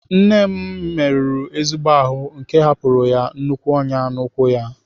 Nne m merụrụ ezigbo ahụ nke hapụrụ ya nnukwu ọnyá n'ụkwụ ya.